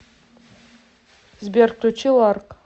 сбер включи ларк